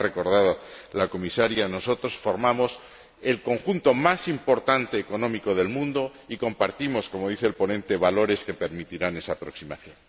Como ha recordado la Comisaria, nosotros formamos el conjunto económico más importante del mundo y compartimos como dice el ponente valores que permitirán esa aproximación.